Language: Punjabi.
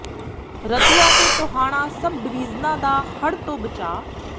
ਰਤੀਆ ਤੇ ਟੋਹਾਣਾ ਸਬ ਡਿਵੀਜ਼ਨਾਂ ਦਾ ਹੜ੍ਹ ਤੋਂ ਬਚਾਅ